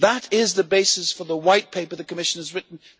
That is the basis for the White Paper the Commission has written.